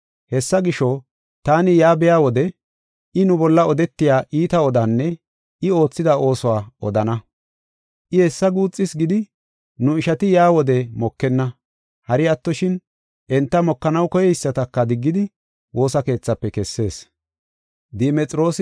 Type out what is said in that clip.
Hessa gisho, taani yaa biya wode I nu bolla odetiya iita odanne I oothida oosuwa odana. I hessi guuxis gidi, nu ishati yaa wode mokenna. Hari attoshin, enta mokanaw koyeysataka diggidi woosa keethafe kessees.